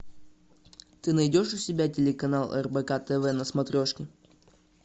ты найдешь у себя телеканал рбк тв на смотрешке